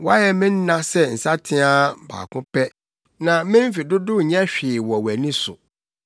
Woayɛ me nna sɛ nsateaa baako pɛ; na me mfe dodow nyɛ hwee wɔ wʼani so. Onipa nkwa yɛ ɔhome bi kɛkɛ.